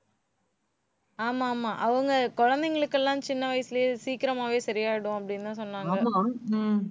ஆமா, ஆமா. அவங்க குழந்தைகளுக்கு எல்லாம் சின்ன வயசுலயே சீக்கிரமாவே சரியாயிடும் அப்படின்னுதான் சொன்னாங்க உம்